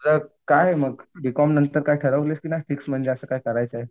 काय मग बीकॉम नंतर काय ठरवलंय की नाही फिक्स म्हणजे असं काय करायचं आहे?